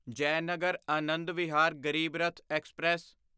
Jaynagar Anand Vihar Garib Rath express